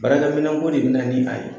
Baarakɛminɛn ko de bɛna ni a ye